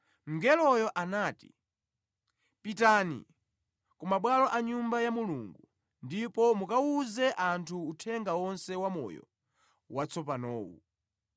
Mngeloyo anati, “Pitani, ku mabwalo a Nyumba ya Mulungu ndipo mukawuze anthu uthenga onse wamoyo watsopanowu.”